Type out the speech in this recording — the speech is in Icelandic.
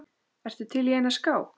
Ertu til í eina skák?